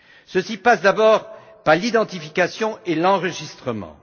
Ceci passe d'abord par l'identification et l'enregistrement.